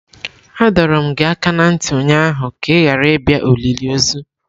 Adọrum gi aka na nti ụnyaahụ ka ị ghara ịbịa olili ozu!